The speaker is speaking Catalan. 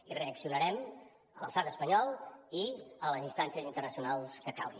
i reaccionarem a l’estat espanyol i a les instàncies internacionals que calgui